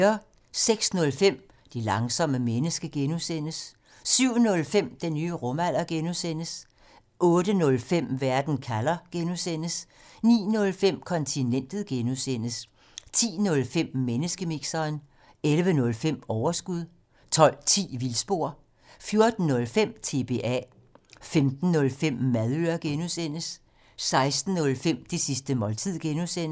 06:05: Det langsomme menneske (G) 07:05: Den nye rumalder (G) 08:05: Verden kalder (G) 09:05: Kontinentet (G) 10:05: Menneskemixeren 11:05: Overskud 12:10: Vildspor 14:05: TBA 15:05: Madøre (G) 16:05: Det sidste måltid (G)